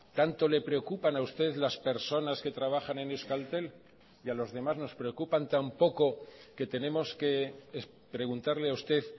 tanto le preocupan a ustedes las personas que trabajan en euskaltel y a los demás nos preocupan tan poco que tenemos que preguntarle a usted